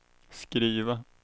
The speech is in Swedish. skriva